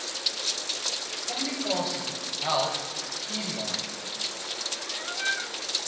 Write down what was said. kommunikasie help vierjaar